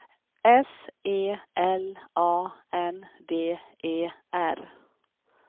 S E L A N D E R